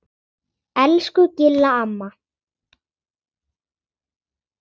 Elsku Gilla amma.